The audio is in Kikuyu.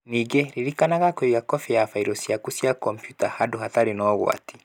Ningĩ ririkanaga kũiga kopĩ ya bairo ciaku cia kompiuta handũ hatarĩ na ũgwati.